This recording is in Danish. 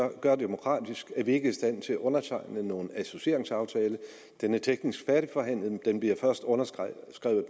gør i demokratisk henseende er vi ikke i stand til at undertegne nogen associeringsaftale den er teknisk færdigforhandlet men den bliver først underskrevet